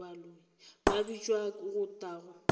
ka bitšwa go tla go